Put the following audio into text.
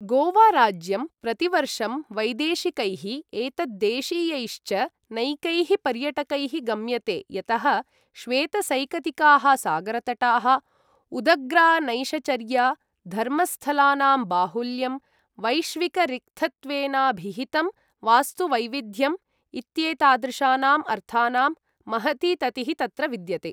गोवाराज्यं प्रतिवर्षं वैदेशिकैः एतद्देशीयैश्च नैकैः पर्यटकैः गम्यते यतः श्वेतसैकतिकाः सागरतटाः, उदग्रा नैशचर्या, धर्मस्थलानां बाहुल्यं, वैश्विकरिक्थत्वेनाभिहितं वास्तुवैविध्यम् इत्येतादृशानाम् अर्थानां महती ततिः तत्र विद्यते।